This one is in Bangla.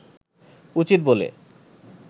উচিত বলে